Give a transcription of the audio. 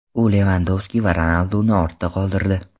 U Levandovski va Ronalduni ortda qoldirdi.